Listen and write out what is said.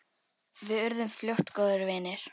Við urðum fljótt góðir vinir.